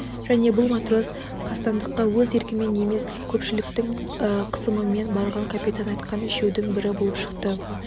және бұл матрос қастандыққа өз еркімен емес көпшіліктің қысымымен барған капитан айтқан үшеудің бірі болып шықты